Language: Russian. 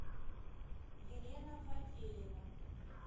елена фатеева